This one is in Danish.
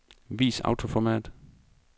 Vis autoformat.